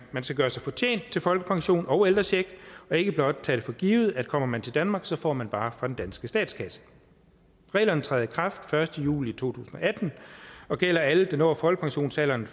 skal gøre sig fortjent til folkepension og ældrecheck og ikke blot tage det for givet at kommer man til danmark så får man bare fra den danske statskasse reglerne træder i kraft den første juli to tusind og atten og gælder alle der når folkepensionsalderen